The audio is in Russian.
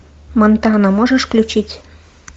монтана можешь включить